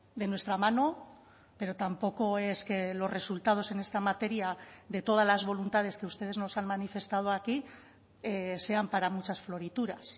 de nuestra mano pero tampoco es que los resultados en esta materia de todas las voluntades que ustedes nos han manifestado aquí sean para muchas florituras